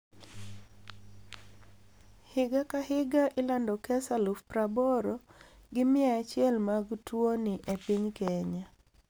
Higa kahiga ilando kes aluf praboro gi mia achiel mag tuoni epiny Kenya.